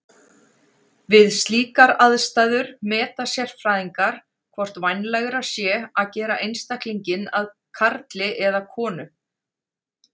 Við slíkar aðstæður meta sérfræðingar hvort vænlegra sé að gera einstaklinginn að karli eða konu.